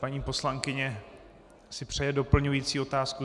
Paní poslankyně si přeje doplňující otázku?